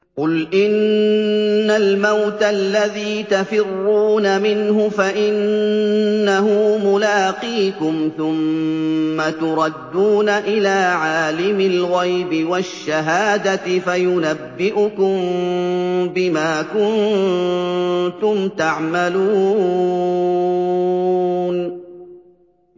قُلْ إِنَّ الْمَوْتَ الَّذِي تَفِرُّونَ مِنْهُ فَإِنَّهُ مُلَاقِيكُمْ ۖ ثُمَّ تُرَدُّونَ إِلَىٰ عَالِمِ الْغَيْبِ وَالشَّهَادَةِ فَيُنَبِّئُكُم بِمَا كُنتُمْ تَعْمَلُونَ